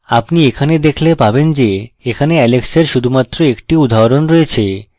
আপনি এখানে দেখলে পাবেন যে এখানে alex এর শুধুমাত্র একটি উদাহরণ রয়েছে